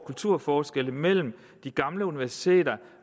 kulturforskelle mellem de gamle universiteter